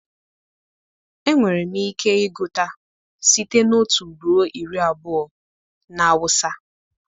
Enwere m ike ịgụta site na otu ruo iri abụọ na awụsa